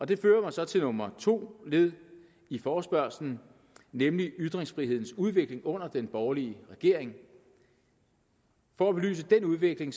det fører mig så til nummer to led i forespørgslen nemlig ytringsfrihedens udvikling under den borgerlige regering for at belyse den udvikling